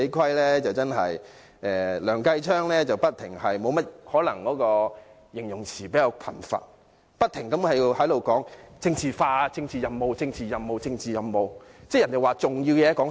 可能梁繼昌議員的形容詞比較貧乏，他不停說政治化、政治任務、政治任務、政治任務。